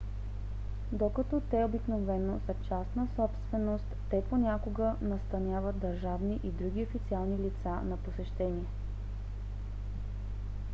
докато те обикновено са частна собственост те понякога настаняват държавни и други официални лица на посещение